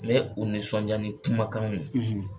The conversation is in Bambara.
Ni ye u nisɔndiya ni kumakanw ye